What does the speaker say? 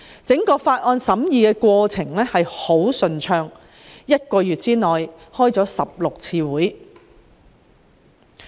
整個法案審議過程非常順暢，一個月召開了16次會議進行討論。